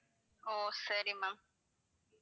ஓ சரி ma'am